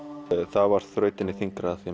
það var þrautinni þyngra því